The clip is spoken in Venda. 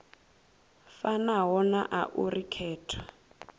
fanaho na a uri khetho